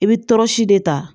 I bɛ tɔrɔsi de ta